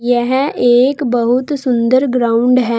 यह एक बहुत सुंदर ग्राउंड है।